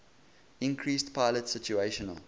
increased pilot situational